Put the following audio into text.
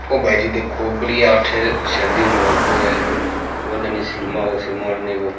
ओ भाईजी देखो बढ़िया अठ --